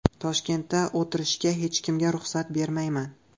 Toshkentda o‘tirishga hech kimga ruxsat bermayman.